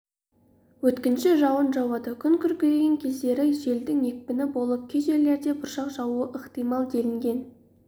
өткінші жауын жауады күн күркіреген кездері желдің екпіні болып кей жерлерінде бұршақ жаууы ықтимал делінген